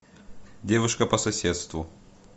девушка по соседству